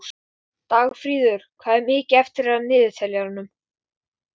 Dagfríður, hvað er mikið eftir af niðurteljaranum?